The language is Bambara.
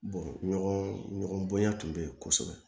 ɲɔgɔn bonya tun bɛ yen kosɛbɛ